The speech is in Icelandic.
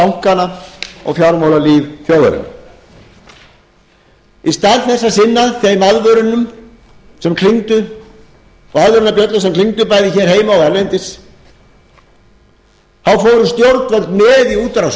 með bankana og fjármálalíf þjóðarinnar í stað þess að sinna þeim aðvörunum sem klingdu og aðvörunarbjöllum sem klingdu bæði heima og erlendis þá fóru stjórnvöld með í útrásina héldu fundi með